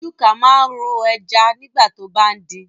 Chuka máa ń ro ẹja nígbà tó bá ń din